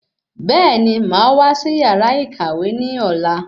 Bẹẹni, máa wá sí yàrá ìkàwé ní ọ̀la